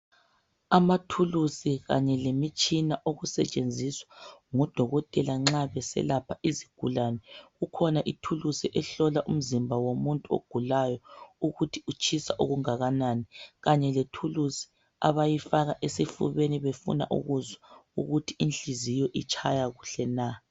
amathulusi kanye lemitshina okusetshenziswa ngu dokotela nxa beselapha izigulane ikhona ithulusi ehlola umzimba womuntu ogulayo ukuthi utshisa okungakanani kanye lethulusi abayifaka esifubeni befuna ukuzwa ukuthi inhliziyo itshaya kuhle na